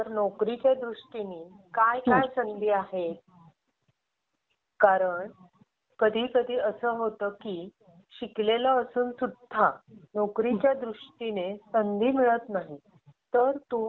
ओम दहावीला आहे आता यावर्षी. तर नोकरीच्या दृष्टीने काय काय संधी आहे. कारण कधी कधी असं होतं की शिकलेला असून सुद्धा नोकरीच्या संधी मिळत नाही. तर मला तू काही मार्गदर्शन करू शकशील का.